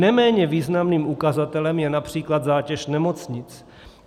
Neméně významným ukazatelem je například zátěž nemocnic.